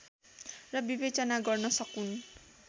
र विवेचना गर्न सकून्